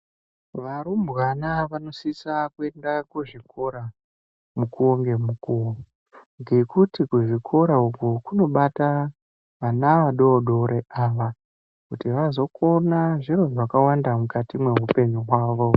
Varumbwana vanosisa kuenda kuzvikora mukuwo ngemukuwo. Ngekuti kuzvikora uko kunobata vana vadoodori ava kuti vazokona zviro zvakawanda mukati meupenyu hwavo.